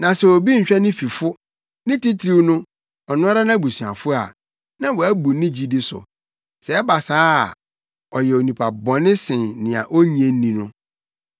Na sɛ obi nhwɛ ne fifo, ne titiriw no, ɔno ara nʼabusuafo a, na wabu ne gyidi so. Sɛ ɛba saa a, ɔyɛ onipa bɔne sen nea onnye nni no.